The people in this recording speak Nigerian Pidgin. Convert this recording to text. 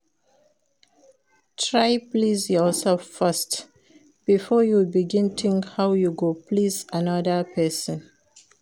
Try please yourself first before you begin think how you go please another persin